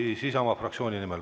Siis kõne Isamaa fraktsiooni nimel.